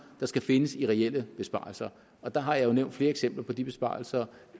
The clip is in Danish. der skal findes i reelle besparelser og der har jeg jo nævnt flere eksempler på de besparelser